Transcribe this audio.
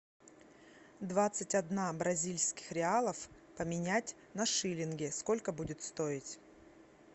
двадцать одна бразильских реалов поменять на шиллинги сколько будет стоить